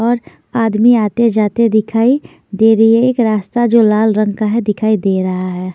और आदमी आते-जाते दिखाई दे रही है एक रास्ता जो लाल रंग का जो है दिखाई दे रहा है।